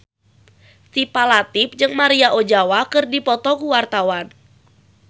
Syifa Latief jeung Maria Ozawa keur dipoto ku wartawan